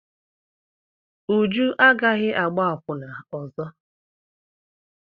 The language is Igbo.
Uju agaghị agbá akwụna ọzọ.